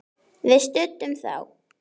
Við studdum þá!